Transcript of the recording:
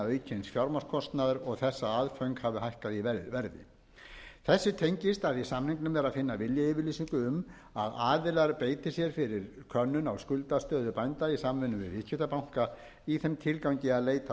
aukins fjármagnskostnaðar og þess að aðföng hafi hækkað í verði þessu tengist að í samningunum er að finna viljayfirlýsingu um að aðilar beiti sér fyrir könnun á skuldastöðu bænda í samvinnu við viðskiptabanka í þeim tilgangi að leita